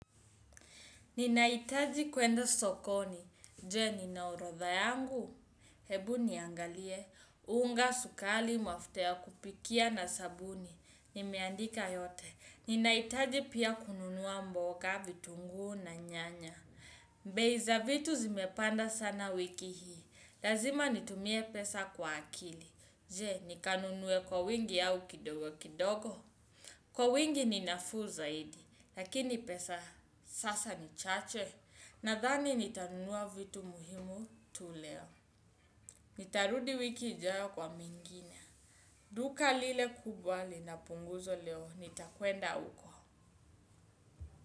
Ninahitaji kuenda sokoni, je nina orodha yangu. Hebu niangalie, unga sukari mafuta ya kupikia na sabuni. Nimeandika yote, ninahitaji pia kununua mboga vitunguu na nyanya. Bei za vitu zimepanda sana wiki hii, lazima nitumie pesa kwa akili. Je nikanunue kwa wingi au kidogo kidogo. Kwa wingi ninafuu zaidi, lakini pesa sasa ni chache, nadhani nitanunua vitu muhimu tu leo. Nitarudi wiki ijayo kwa mwingine. Duka lile kubwa linapunguzwa leo, nitakwenda huko.